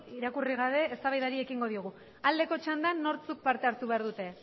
irakurri gabe eztabaidari ekingo diogu aldeko txandan nortzuk parte hartu behar dute